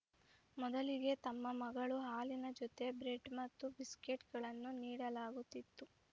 ಮೊದಲಿಗೆ ತಮ್ಮ ಮಗಳು ಹಾಲಿನ ಜೊತೆ ಬ್ರೆಡ್‌ ಮತ್ತು ಬಿಸ್ಕಟ್‌ಗಳನ್ನು ನೀಡಲಾಗುತ್ತಿತ್ತು